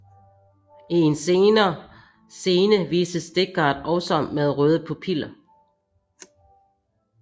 I en senere scene vises Deckard også med røde pupiller